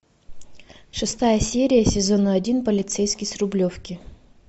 шестая серия сезона один полицейский с рублевки